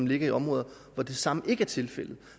ligger i områder hvor det samme ikke er tilfældet